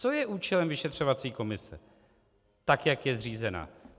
Co je účelem vyšetřovací komise, tak jak je zřízena.